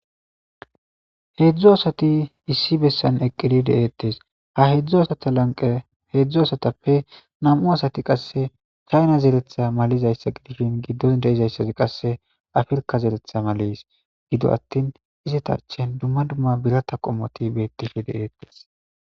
Heedzdzu asati issi bessan eqqidi deeettes ha heedzdzu asata lanqe heedzdzu asatappe nam'u asati qasse chayna zeretha malizayssa qidifhin giddon deizayssazi qasse afirka zeretha malis gido attin izitaachen dumma dumma birata qommoti beettifi de'eettes.